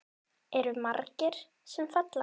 Eru margir sem falla?